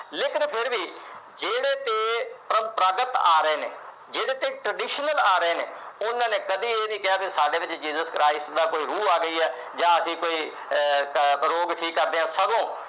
ਆ ਰਹੇ ਨੇ ਜਿਹਦੇ ਤੇ traditional ਆ ਰਹੇ ਨੇ ਉਨ੍ਹਾਂ ਨੇ ਕਦੀ ਇਹ ਨਹੀ ਕਿਹਾ ਕਿ ਸਾਡੇ ਵਿਚ jesus christ ਦਾ ਕੋਈ ਰੂਹ ਗਈ ਆ ਜਾਂ ਅਸੀਂ ਕੋਈ ਅਹ ਰੋਗ ਠੀਕ ਕਰਦੇ ਆ ਸਗੋਂ